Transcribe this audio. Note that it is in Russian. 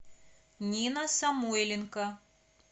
нина самойленко